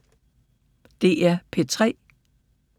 DR P3